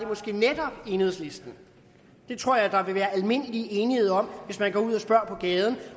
måske netop enhedslisten det tror jeg der vil være almindelig enighed om hvis man går ud på gaden